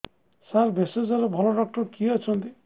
ସାର ଭେଷଜର ଭଲ ଡକ୍ଟର କିଏ ଅଛନ୍ତି